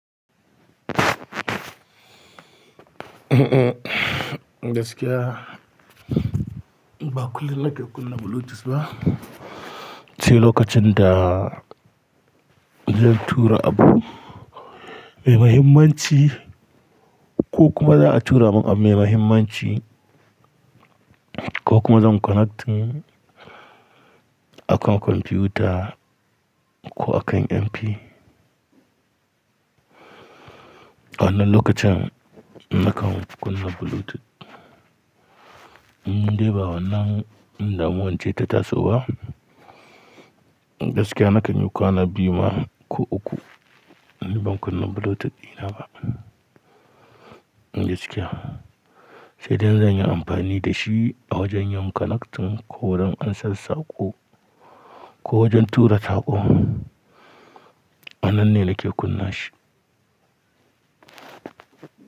Gaskiya, ba kullum na ke kunna Bluetooth ba. Sai lokacin da zan tura abu mai mahimmanci ko kuma za a tura min abu mai mahimmanci ko kuma zan connecting akan kwamfuta ko a kan MP. Wannan lokacin nakan kunna Bluetooth. Dai ba wannan damuwanci ta taso ba. Gaskiya na kan yi kwana biyu ma ko uku ban kunna Bluetooth dina ba. Gaskiya, sai dai zan yi amfani da shi a wajen yin connecting ko wurin ansassa ko, ko wajen tura taɓo. Wannan ne da ke kunna shi.